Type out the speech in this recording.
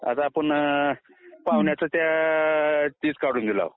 आता आपण पाहुण्याचं तेच काढून दिलं